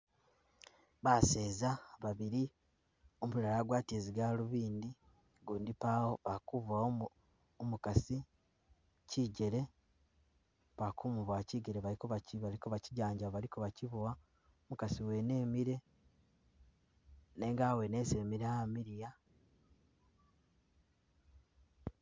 Baseza babili, umulala agwatile zi galuvindi ugundi pawo, akubowa umu umukasi chijele, bakumubowa chijele baliko bali kobakyijanjaba bali kobachibowa, umukasi wene emile nenga awene esi emile amiiya